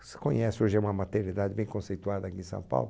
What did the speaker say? Não sei se vocês conhecem, hoje é uma maternidade bem conceituada aqui em São Paulo,